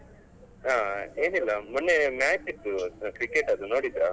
ಹಾ ಏನಿಲ್ಲ ಮೊನ್ನೆ match ಇತ್ತು cricket ಅದ್ದು ನೋಡಿದ್ರಾ?